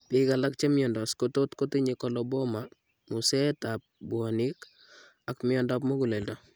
Biik alak chimiondos kotot kotinye coloboma, museet ab bwonik, ak miondab muguleldo